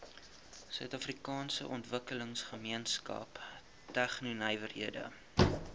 suidafrikaanse ontwikkelingsgemeenskap tegnonywerhede